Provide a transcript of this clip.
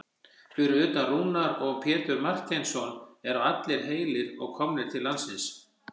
Fyrir utan Rúnar og Pétur Marteinsson eru allir heilir og komnir til landsins?